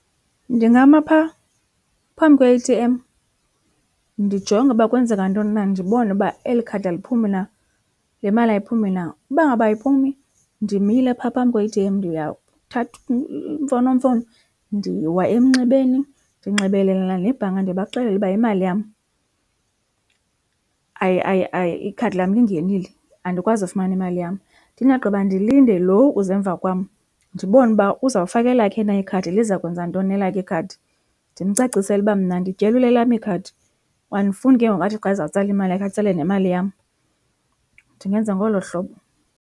Ndingama phaa phambi kwe-A_T_M ndijonge uba kwenzeka ntoni na ndibone uba eli khadi aliphumi na, le mali ayiphumi na. Uba ngaba ayiphumi ndimile phaa phambi kwe-A_T_M ndiyathatha imfonomfono ndiwa emnxebeni ndinxibelelana nebhanka ndibaxelela uba imali yam , ikhadi lam lingenile andikwazi ufumana imali yam. Ndingagqiba ndilinde lo uza emva kwam ndibone uba uzawufaka elakhe na ikhadi liza kwenza ntoni na elakhe ikhadi. Ndimcacisele uba mna ndityelwe lelam ikhadi, andifuni ke ngoku athi xa ezawutsala imali yakhe atsale nemali yam. Ndingenza ngolo hlobo.